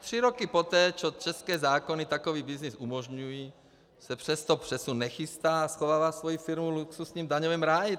Tři roky poté, co české zákony takový byznys umožňují, se přesto přesun nechystá a schovává svoji firmu v luxusním daňovém ráji.